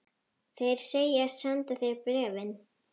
Þeir segjast senda þér bréfin.